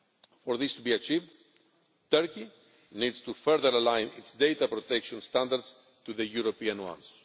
For this to be achieved, Turkey needs to further align its data protection standards to the European ones.